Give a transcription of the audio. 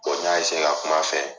n ya ka kuma fɛ.